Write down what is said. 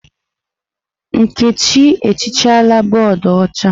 Nkechi ehichala bọọdụ ọcha.